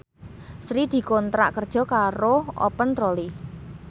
Sri dikontrak kerja karo Open Trolley